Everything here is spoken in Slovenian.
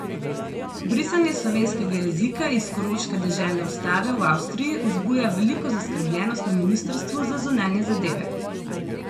Brisanje slovenskega jezika iz koroške deželne ustave v Avstriji vzbuja veliko zaskrbljenost na ministrstvu za zunanje zadeve.